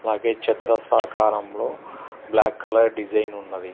అలాగే చతురస్రాకారంలో black colour design ఉన్నది.